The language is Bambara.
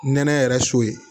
Nɛnɛ yɛrɛ so ye